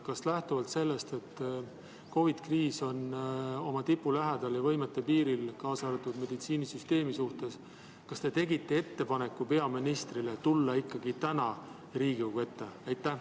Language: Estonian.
Kas lähtuvalt sellest, et COVID‑i kriis on oma tipu lähedal ja meditsiinisüsteem oma võimete piiril, te tegite ettepaneku peaministrile tulla ikkagi täna Riigikogu ette?